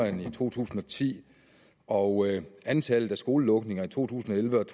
end i to tusind og ti og antallet af skolelukninger i to tusind og elleve og